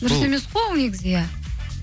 дұрыс емес қой ол негізі иә